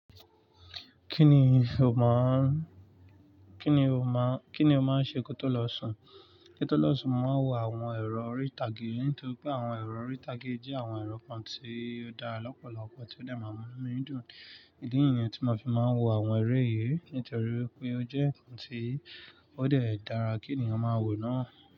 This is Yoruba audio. Kí ni o máa oun, kí ni o máa oun, kí ni o máa ń ṣe kó tó lọ sùn? Kín tó lọ sùn, mo màá n wo àwọn eero orí ìtàgé, nítorí pé àwọn eerọ orí ìtàgé yi jẹ́ àwọn ẹerọ kan tí ó dára lọ́pọ̀lọpọ̀ tí ó dẹ̀ máa mú mi dùn. Ìdí nìyẹn tí mo fi máa ń wo àwọn eré yìí, nítorí pé ó jẹ́ ǹkan tí ó dẹ̀ dára kí ènìyàn máa wo náà.